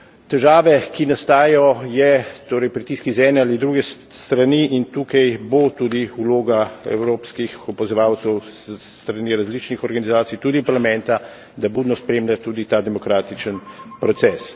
Težava, ki nastaja, je torej pritisk z ene ali druge strani, in tukaj bo tudi vloga evropskih opazovalcev s strani različnih organizacij, tudi Parlamenta, da budno spremlja tudi ta demokratičen proces.